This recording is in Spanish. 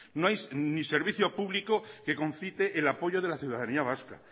no hay ni servicio público que concite el apoyo de la ciudadanía vasca